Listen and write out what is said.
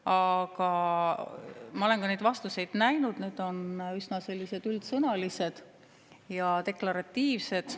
Aga ma olen neid vastuseid näinud, need on üsna üldsõnalised ja deklaratiivsed.